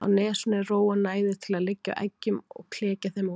Á nesinu er ró og næði til að liggja á eggjum og klekja þeim út.